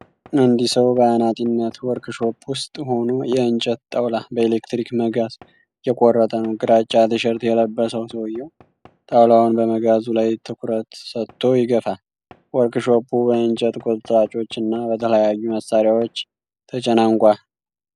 አንድ ሰው በአናጢነት ወርክሾፕ ውስጥ ሆኖ የእንጨት ጣውላ በኤሌክትሪክ መጋዝ እየቆረጠ ነው። ግራጫ ቲሸርት የለበሰው ሰውዮው፣ ጣውላውን በመጋዙ ላይ ትኩረት ሰጥቶ ይገፋል። ወርክሾፑ በእንጨት ቁርጥራጮች እና በተለያዩ መሳሪያዎች ተጨናንቋል።